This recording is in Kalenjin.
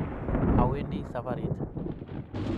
Awendi safarit